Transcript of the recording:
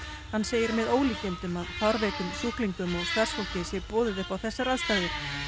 hann segir með ólíkindum að fárveikum sjúklingum og starfsfólki sé boðið upp á þessar aðstæður